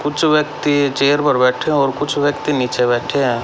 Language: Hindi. कुछ व्यक्ति चेयर पर बैठे और कुछ व्यक्ति नीचे बैठे हैं।